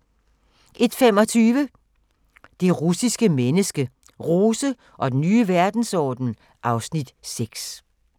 01:25: Det russiske menneske – Rose og den nye verdensorden (Afs. 6)